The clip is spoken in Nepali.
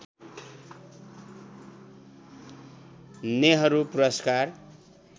नेहरू पुरस्कार